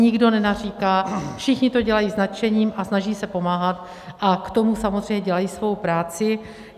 Nikdo nenaříká, všichni to dělají s nadšením a snaží se pomáhat a k tomu samozřejmě dělají svou práci.